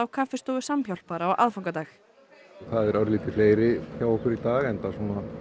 kaffistofu Samhjálpar á aðfangadag það eru örlítið fleiri hjá okkur í dag enda